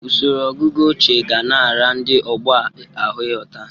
Usoro ọgụgụ ochie ga na-ara ndị ọgbọ a ahụ ịghọta.